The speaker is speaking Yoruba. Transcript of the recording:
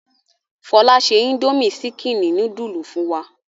Fọlá ṣe indomie ṣíkínì núdúlù fún wa.